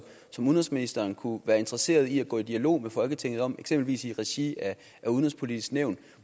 som udenrigsministeren kunne være interesseret i at gå i dialog med folketinget om eksempelvis i regi af udenrigspolitisk nævn